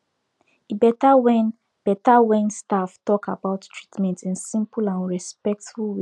e better when better when staff talk about treatment in simple and respectful way